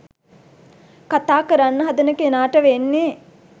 කතා කරන්න හදන කෙනාට වෙන්නේ